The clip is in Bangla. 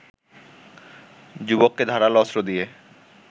যুবককে ধারালো অস্ত্র দিয়ে